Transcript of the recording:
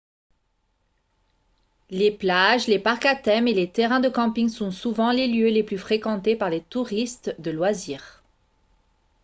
les plages les parcs à thème et les terrains de camping sont souvent les lieux les plus fréquentés par les touristes de loisirs